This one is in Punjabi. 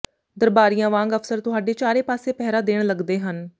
ਦਰਬਾਰੀਆਂ ਵਾਂਗ ਅਫ਼ਸਰ ਤੁਹਾਡੇ ਚਾਰੇ ਪਾਸੇ ਪਹਿਰਾ ਦੇਣ ਲੱਗਦੇ ਹਨ